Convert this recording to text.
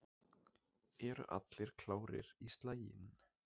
Eru allir klárir í slaginn?